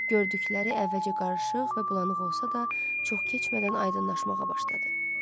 Gördükləri əvvəlcə qarışıq və bulanıq olsa da, çox keçmədən aydınlaşmağa başladı.